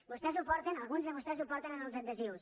vostès ho porten alguns de vostès ho porten en els adhesius